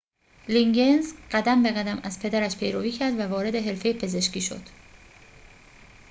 لیگینز قدم به قدم از پدرش پیروی کرد و وارد حرفه پزشکی شد